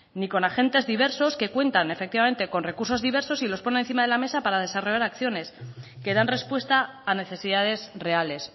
ni con agentes diversos que cuentan efectivamente con recursos diversos y los ponen encima de la mesa para desarrollar acciones que dan respuesta a necesidades reales